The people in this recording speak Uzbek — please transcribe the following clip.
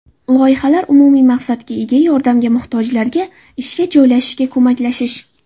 Loyihalar umumiy maqsadga ega yordamga muhtojlarga ishga joylashishga ko‘maklashish.